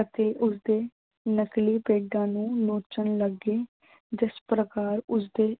ਅਤੇ ਉਸਦੇ ਨਕਲੀ ਪੇਡਾਂ ਨੂੰ ਨੋਚਣ ਲੱਗੇ ਜਿਸ ਪ੍ਰਕਾਰ ਉਸਦੇ